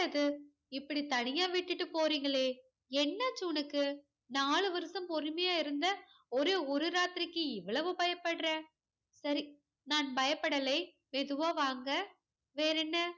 என்ன இது இப்படி தனியா விட்டுட்டு போறிங்களே என்னாச்சி உனக்கு நாலு வருஷம் பொறுமையா இருந்த ஒரே ஒரு ராத்திரிக்கி இவ்ளோ பயப்பட்ற சரி நான் பயப்படலை மெதுவா வாங்க வேறென்ன